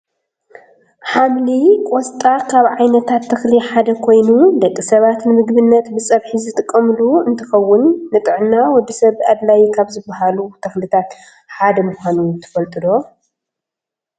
ሓምሊ ቆስጣ ካብ ዓይነታት ተክሊ ሓደ ኮይኑ ደቂ ሰባት ንምግብነት ብፀብሒ ዝጥቀምሉ እንትከውን ንጥዕና ወዲ ሰብ ኣድላይ ካብ ዝባሃሉ ተክልታት ሓደ ምኳኑ ትፈልጡ ዶ?